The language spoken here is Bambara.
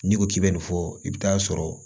N'i ko k'i bɛ nin fɔ i bɛ taa sɔrɔ